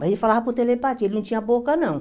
Mas ele falava por telepatia, ele não tinha boca, não.